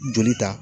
Joli ta